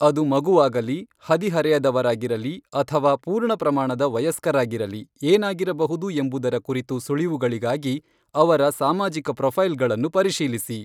ಅದು ಮಗುವಾಗಲಿ, ಹದಿಹರೆಯದವರಾಗಿರಲಿ ಅಥವಾ ಪೂರ್ಣ ಪ್ರಮಾಣದ ವಯಸ್ಕರಾಗಿರಲಿ, ಏನಾಗಿರಬಹುದು ಎಂಬುದರ ಕುರಿತು ಸುಳಿವುಗಳಿಗಾಗಿ ಅವರ ಸಾಮಾಜಿಕ ಪ್ರೊಫೈಲ್ಗಳನ್ನು ಪರಿಶೀಲಿಸಿ.